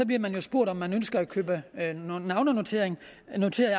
bliver man spurgt om man ønsker at købe navnenoterede